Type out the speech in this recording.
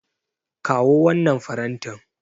Kawo wannan farantin.